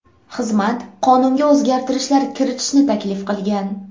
Xizmat qonunga o‘zgartirishlar kiritishni taklif qilgan.